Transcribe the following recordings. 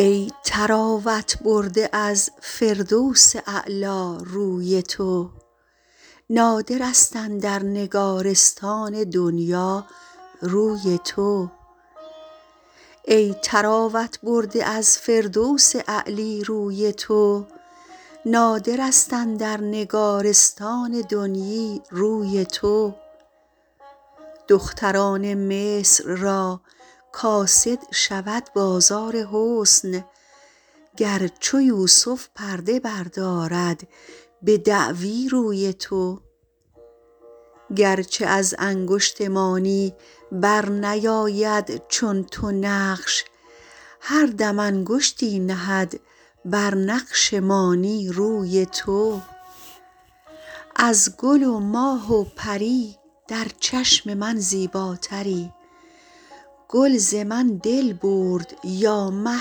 ای طراوت برده از فردوس اعلی روی تو نادر است اندر نگارستان دنیی روی تو دختران مصر را کاسد شود بازار حسن گر چو یوسف پرده بردارد به دعوی روی تو گر چه از انگشت مانی بر نیاید چون تو نقش هر دم انگشتی نهد بر نقش مانی روی تو از گل و ماه و پری در چشم من زیباتری گل ز من دل برد یا مه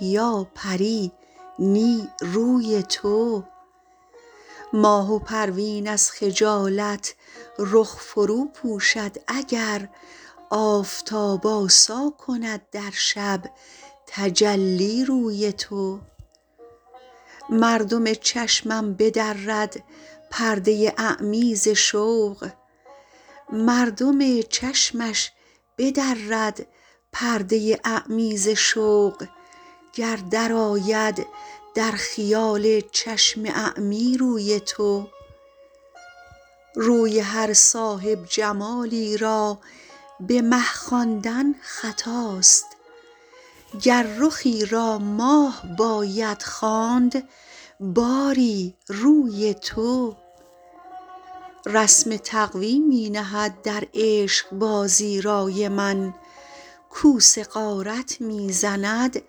یا پری نی روی تو ماه و پروین از خجالت رخ فرو پوشد اگر آفتاب آسا کند در شب تجلی روی تو مردم چشمش بدرد پرده اعمی ز شوق گر درآید در خیال چشم اعمی روی تو روی هر صاحب جمالی را به مه خواندن خطاست گر رخی را ماه باید خواند باری روی تو رسم تقوی می نهد در عشق بازی رای من کوس غارت می زند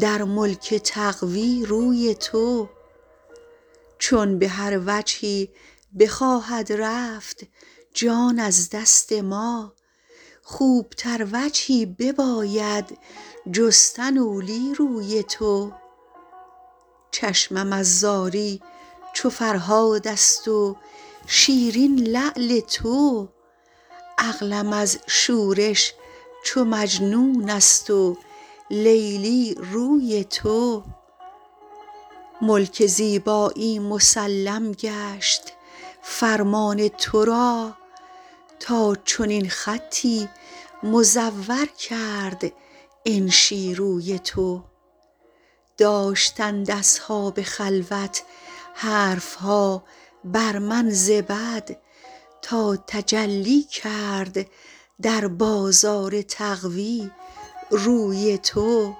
در ملک تقوی روی تو چون به هر وجهی بخواهد رفت جان از دست ما خوب تر وجهی بباید جستن اولی روی تو چشمم از زاری چو فرهاد است و شیرین لعل تو عقلم از شورش چو مجنون است و لیلی روی تو ملک زیبایی مسلم گشت فرمان تو را تا چنین خطی مزور کرد انشی روی تو داشتند اصحاب خلوت حرف ها بر من ز بد تا تجلی کرد در بازار تقوی روی تو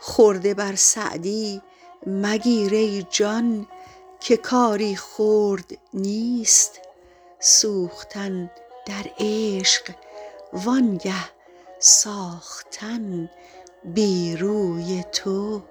خرده بر سعدی مگیر ای جان که کاری خرد نیست سوختن در عشق وانگه ساختن بی روی تو